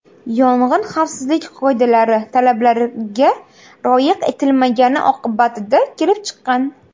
Yong‘in xavfsizlik qoidalari talablariga rioya etilmagani oqibatida kelib chiqqan.